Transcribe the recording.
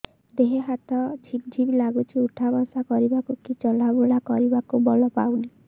ଦେହେ ହାତ ଝିମ୍ ଝିମ୍ ଲାଗୁଚି ଉଠା ବସା କରିବାକୁ କି ଚଲା ବୁଲା କରିବାକୁ ବଳ ପାଉନି